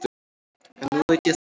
En nú veit ég það.